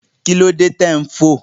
Kí ló dé tí ò ń fò?